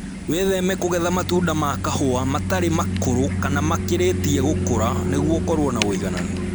Wĩtheme kũgetha matunda ma kahũa matarĩ makũrũ kana makĩrĩtie gũkũra nĩguo ũkorwo na ũigananu